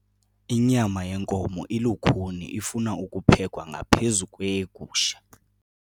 Inyama yenkomo ilukhuni ifuna ukuphekwa ngaphezu kweyegusha.